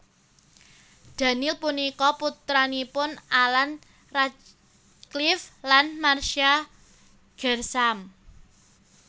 Daniel punika putranipun Alan Radcliffe lan Marcia Gersham